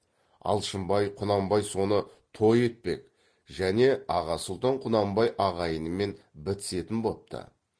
алшынбай құнанбай соны той етпек және аға сұлтан құнанбай ағайынымен бітісетін бопты